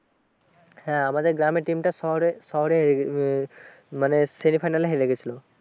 হ্যাঁ আমাদের গ্রামের team তা শহরের শহরে হেরে উম মানে semi final হেরে গেছিলো